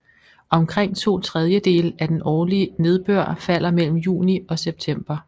Omkring to tredjedele af den årlig nedbør falder mellem juni og september